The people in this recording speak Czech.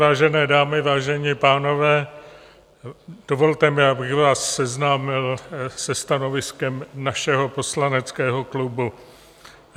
Vážené dámy, vážení pánové, dovolte mi, abych vás seznámil se stanoviskem našeho poslaneckého klubu.